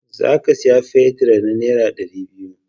Za ka saya fetir na nera dari biyu